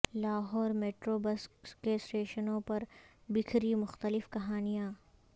Lahore metro bus کے اسٹیشنوں پر بکھری مختلف کہانیاں